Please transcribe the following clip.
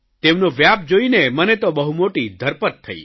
તેમનો વ્યાપ જોઇને મને તો બહુ મોટી ધરપત થઇ